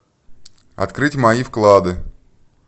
открыть мои вклады